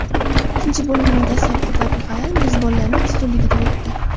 Ikkinchi bo‘limning dastlabki daqiqalari mezbonlarning ustunligida o‘tdi.